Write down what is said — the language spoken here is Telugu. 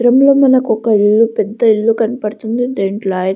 లో మనకొక ఇల్లు పెద్ద ఇల్లు కనపడుతుంది దీంట్లో --